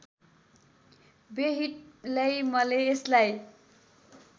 व्यहिटलैमले यसलाई